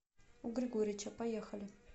у григорича поехали